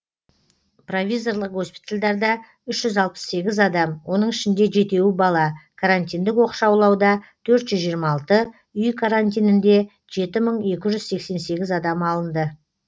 провизорлық госпитальдарда үш жүз алпыс сегіз адам оның ішінде жетеуі бала карантиндік оқшаулауда төрт жүз жиырма алты үй карантиніне жеті мың екі жүз сексен сегіз адам алынды